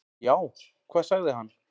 """Já, hvað sagði hann?"""